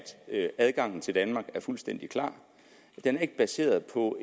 adgangen til danmark er fuldstændig klar den er ikke baseret på